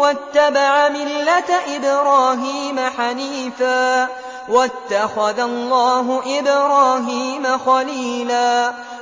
وَاتَّبَعَ مِلَّةَ إِبْرَاهِيمَ حَنِيفًا ۗ وَاتَّخَذَ اللَّهُ إِبْرَاهِيمَ خَلِيلًا